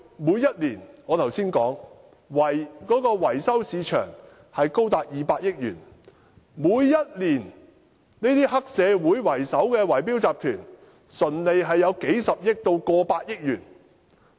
我剛才提到，維修市場過去每年市值高達200億元，每年以黑社會為首的圍標集團的純利高達數十億元甚至超過100億元。